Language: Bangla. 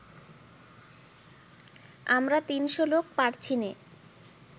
আমরা তিনশো লোক পারছিনে